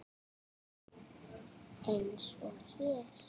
Eins og hér.